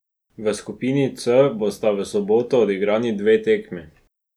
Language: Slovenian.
V skupini C bosta v soboto odigrani dve tekmi.